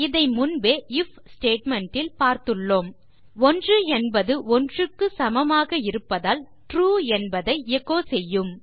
இதை முன்பே IF statement ல் பார்த்துள்ளோம் 1 என்பது 1 க்கு சமமாக இருப்பதால் ட்ரூ என்பதை எச்சோ செய்யும்